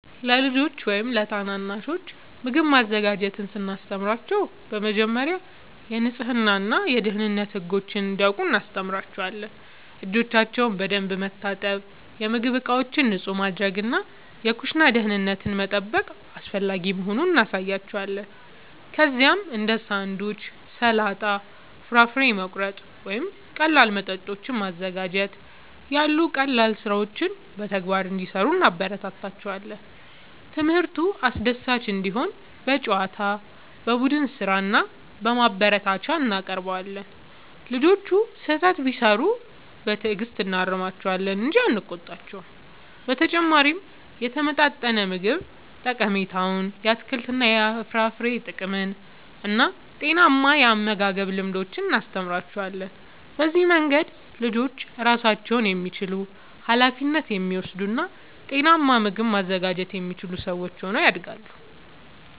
ለልጆች ወይም ታናናሾች ምግብ ማዘጋጀትን ስናስተምር በመጀመሪያ የንጽህና እና የደህንነት ህጎችን እንዲያውቁ እናስተምራቸዋለን። እጆቻቸውን በደንብ መታጠብ፣ የምግብ ዕቃዎችን ንጹህ ማድረግ እና የኩሽና ደህንነትን መጠበቅ አስፈላጊ መሆኑን እናሳያቸዋለን። ከዚያም እንደ ሳንድዊች፣ ሰላጣ፣ ፍራፍሬ መቁረጥ ወይም ቀላል መጠጦችን ማዘጋጀት ያሉ ቀላል ሥራዎችን በተግባር እንዲሠሩ እናበረታታቸዋለን። ትምህርቱ አስደሳች እንዲሆን በጨዋታ፣ በቡድን ሥራ እና በማበረታቻ እናቀርበዋለን። ልጆቹ ስህተት ቢሠሩ በትዕግሥት እናርማቸዋለን እንጂ አንቆጣቸውም። በተጨማሪም የተመጣጠነ ምግብ ጠቀሜታን፣ የአትክልትና የፍራፍሬ ጥቅምን እና ጤናማ የአመጋገብ ልምዶችን እናስተምራቸዋለን። በዚህ መንገድ ልጆች ራሳቸውን የሚችሉ፣ ኃላፊነት የሚወስዱ እና ጤናማ ምግብ ማዘጋጀት የሚችሉ ሰዎች ሆነው ያድጋሉ።